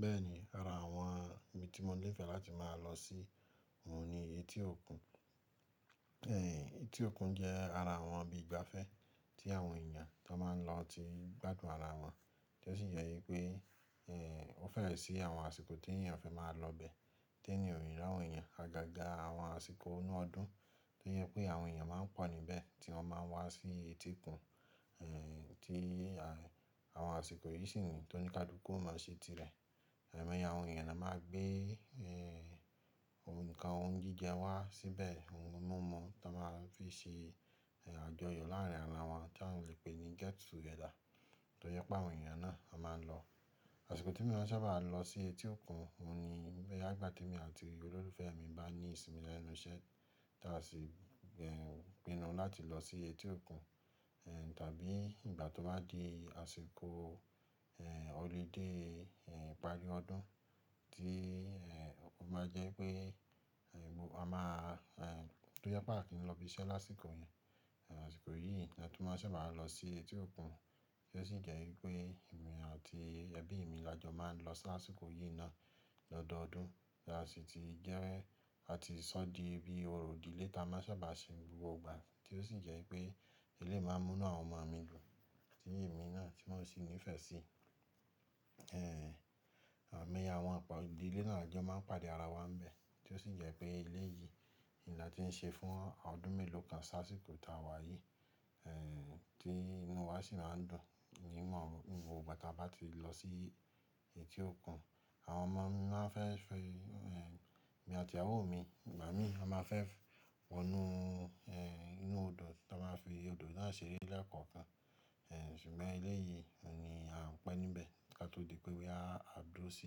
Bẹ́ẹ̀ ni, ara àwọn ibi tí mo nífẹ̀ẹ́ láti máa lọ sí oun ni etí òkun. Etí òkun jẹ́ ara àwọn ibi ìgbafẹ́ tí àwọn èèyàn tó máa ń lọ ti n gbádùn ara wọn, tí ó sì jẹ́ wipé ó fẹ́rẹ̀ sí àwọn àsìkò tí èèyàn fi máa ń lọ bẹ, tí ẹeyan oni ri áwòn eeyàn àgàgà àwọn àsìkò inú ọdún, tó jẹ pé àwọn èèyàn máa ń pọ̀ níbẹ̀ tí wọ́n máa ń wá sí etí òkun, tí àwọn àsìkò yìí sì ní tó ní kálúkú ọ̀mà se tirẹ̀. Aimoye àwọn èèyàn náà máa gbé ǹkan ohun jíjẹ wá síbẹ̀, ohun mímu tón máa ń fi ṣe àjọyọ̀ láàrín ara wọn, tí a lè pè ní get together, tó jẹ pé àwọn èèyàn náà a máa ń lọ. Àsìkò tí mò máa ń sábà lọ sí etí òkun oun ni boya nigbà tí èmi àti olólùfẹ́ mi bá ní ìsinmi lẹ́nu iṣẹ́ tí a sì pìnù láti lọ sí etí òkun, tàbí ìgbà tó bá di àsìkò Holiday ìparí ọdún tí ó máa jẹ́ pé a máa tó jẹ pé a o kì í lọ ibi iṣẹ́ lásìkò yìí. Àsìkò yìí ni a tun máa ń sábà lọ sí etí òkun, tí ó sì jẹ́ wípé èmi àti ẹbí mi làjọ máa ń lọ lásìkò yìí náà lọ́dọọdún tí a sì ti jẹ́rẹ́ àti sọ di bí orò ìdílé tá a máa ń sábà ṣe gbogbo ìgbà tí ó sì jẹ́ pé ilé máa ń mú àwọn ọmọ mi dùn, tí èmi náà tí mọ́ sì nífẹ̀ẹ́ sí. Aimoye àwọn ọ̀po ìdílé náà la jọ máa ń pàdé ara wa níbẹ̀, tí ó sì jẹ́ pé eléyìí n la ti ń ṣe fún ọdún mélòó kan si ásìkò ti a wá yìí, tí inú wa sì máa ń dùn ní gbogbo ìgbà tí a bá ti lọ sí etí òkun. Àwọn ọmọ mi máa ń fẹ́ fi-- èmi àti ìyàwó mi, igbá mi a máa fẹ́ wọnú inú odò ta máa fi odò náà ṣeré lẹ́ẹ̀koonkan, ṣùgbọ́n eléyìí oun ni a o ń pẹ́ níbẹ̀ ko tó di pé wí a dúró sí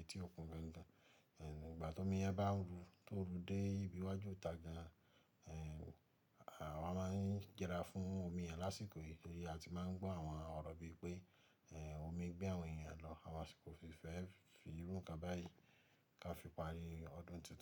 etí òkun gangan. Ìgbà tómi bá yẹn bá ń ru tó ru dé ìbíwájú ìta gan, àwa máa ń yẹrà fún omi yẹ̀n lásìkò yìí tori a ti máa ń gbọ́ àwọn ọ̀rọ̀ bí i pé omi gbé àwọn èèyàn lọ, àwa sì kò fi fẹ́ fi irú ǹkan báyìí kí a fi parí ọdún tuntun.